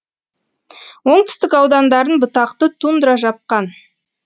оңтүстік аудандарын бұтақты тундра жапқан